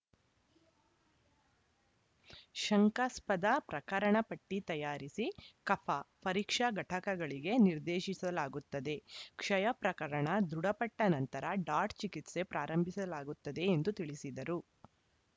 ಶಂಕಾಸ್ಪದ ಪ್ರಕರಣ ಪಟ್ಟಿತಯಾರಿಸಿ ಕಫ ಪರೀಕ್ಷಾ ಘಟಕಗಳಿಗೆ ನಿರ್ದೇಶಿಸಲಾಗುತ್ತದೆ ಕ್ಷಯ ಪ್ರಕರಣ ದೃಢಪಟ್ಟನಂತರ ಡಾಟ್‌ ಚಿಕಿತ್ಸೆ ಪ್ರಾರಂಭಿಸಲಾಗುತ್ತದೆ ಎಂದು ತಿಳಿಸಿದರು